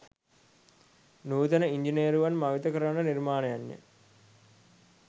නූතන ඉංජිනේරුවන් මවිත කරවන නිර්මාණයන්ය